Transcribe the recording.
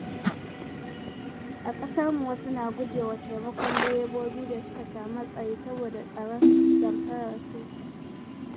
A kasarmu, wasu na guje wa taimakon direbobi da suka sami hatsari saboda tsoron damfararsu.